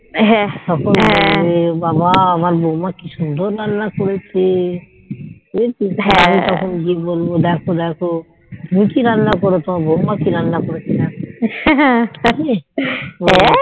তখন বলবে বাবা আমার বৌমা কি সুন্দর রান্না করেছে বুঝেছিস আমি তখন গিয়ে বলবো দেখো দেখো আমি কি রান্না করো তোমার বৌমা কি রান্না করেছে দেখো জানিস দেখো